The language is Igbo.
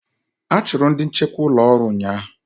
A chụrụ ndị nchekwa ụlọ ọrụ ụnyaahụ.